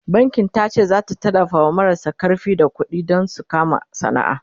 bankin tace zata tallafawa marasa karfi da ƙuɗi Dan su kama sana'a